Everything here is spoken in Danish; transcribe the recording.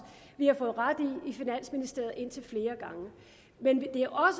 vi har fået ret i i finansministeriet indtil flere gange men det